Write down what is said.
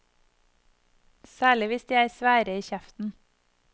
Særlig hvis de er svære i kjeften.